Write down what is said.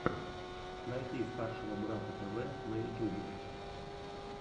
найти старшего брата тв на ютубе